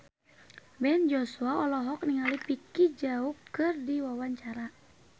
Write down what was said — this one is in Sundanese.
Ben Joshua olohok ningali Vicki Zao keur diwawancara